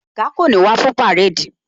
Oga kò ní wá fún parade